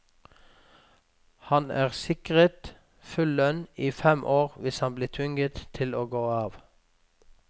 Han er sikret full lønn i fem år hvis han blir tvunget til å gå av.